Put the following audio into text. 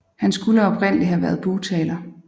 Han skulle oprindeligt have været bugtaler